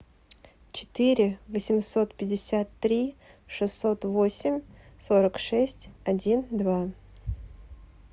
четыре восемьсот пятьдесят три шестьсот восемь сорок шесть один два